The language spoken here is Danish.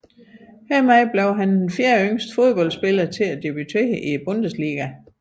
Hermed blev han den fjerdeyngste fodboldspiller til at debutere i Bundesligaen